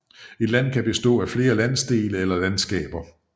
Et land kan bestå af flere landsdele eller landskaber